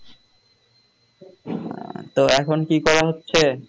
আহ তো এখন কি করা হচ্ছে?